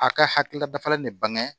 A ka hakilila dafalen de bange